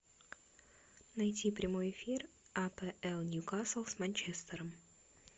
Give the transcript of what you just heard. найти прямой эфир апл ньюкасл с манчестером